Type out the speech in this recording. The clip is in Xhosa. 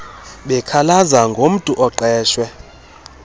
bekhalaza ngomntu oqeshe